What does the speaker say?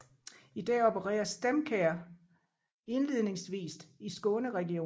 I dag opererer StemCare indledningsvist i Skåne regionen